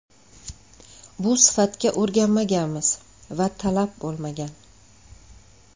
Bu sifatga o‘rganmaganmiz va talab bo‘lmagan.